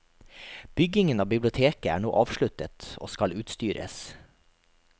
Byggingen av biblioteket er nå avsluttet, og skal utstyres.